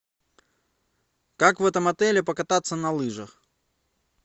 как в этом отеле покататься на лыжах